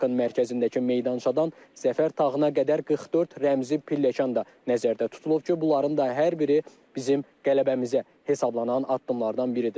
Parkın mərkəzindəki meydançadan Zəfər tağına qədər 44 rəmzi pilləkən də nəzərdə tutulub ki, bunların da hər biri bizim qələbəmizə hesablanan addımlardan biridir.